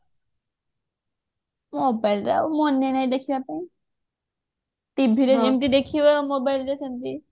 mobileରେ ଆଉ ମାନେ ନାଇ ଦେଖିବା ପାଇଁ TV ରେ ଯେମିତି ଦେଖିବ mobileରେ ସେମିତି